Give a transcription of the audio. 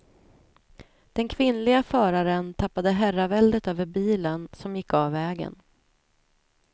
Den kvinnliga föraren tappade herraväldet över bilen, som gick av vägen.